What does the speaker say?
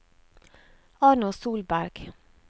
Arnold Solberg